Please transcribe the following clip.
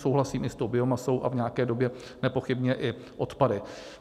Souhlasím i s tou biomasou a v nějaké době nepochybně i odpady.